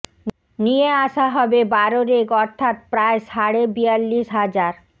নিয়ে আসা হবে বারো রেক অর্থাত্ প্রায় সাড়ে বিয়াল্লিশ হাজার